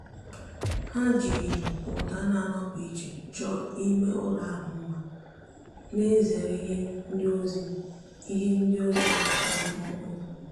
há jìrì ụ́dà nà-ànọ́pụ́ ìchè chọ́ọ́ ímé ụ́lọ̀ ahụ́ mma nà-èzèrè ìhè ndozi ìhè ndozi dị mkpụ́mkpụ́.